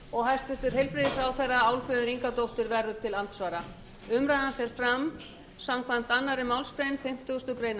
og hæstvirtur heilbrigðisráðherra álfheiður ingadóttir verður til andsvara umræðan fer fram samkvæmt annarri málsgrein fimmtugustu grein